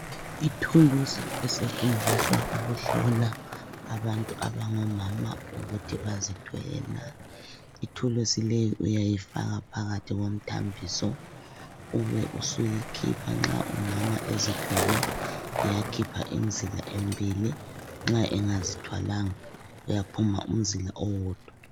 Ithuluzi esetshenziswa ukuhlola abantu abangomama ukuthi bazithwele nah. Ithuluzi leyi uyayifaka phakathi komthambiso ube usuyikhipha. Nxa umama ezithwele kuyaphuma imizila emibili, nxa engazithwalanga kuyaphuma umzila owodwa.